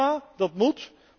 Prima, dat moet.